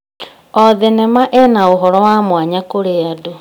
O thenema ĩna ũhoro wa mwanya kũrĩ andũ.